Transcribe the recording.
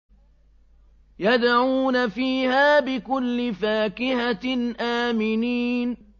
يَدْعُونَ فِيهَا بِكُلِّ فَاكِهَةٍ آمِنِينَ